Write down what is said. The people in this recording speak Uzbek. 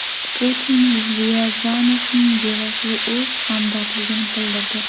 Putin Ryazanovning bevasiga o‘z hamdardligini bildirdi.